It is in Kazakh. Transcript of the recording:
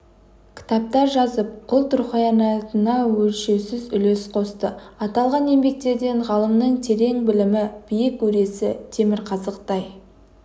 кітаптар жазып ұлт руханиятына өлшеусіз үлес қосты аталған еңбектерден ғалымның терең білімі биік өресі темірқазықтай